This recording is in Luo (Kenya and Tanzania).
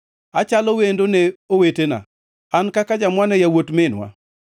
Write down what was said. Achalo wendo ne owetena an kaka jamwa ne yawuot minwa;